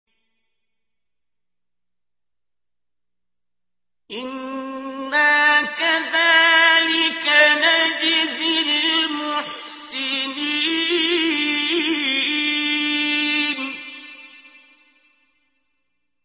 إِنَّا كَذَٰلِكَ نَجْزِي الْمُحْسِنِينَ